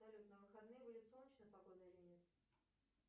салют на выходные будет солнечная погода или нет